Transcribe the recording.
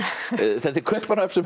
þetta er Kaupmannahöfn sem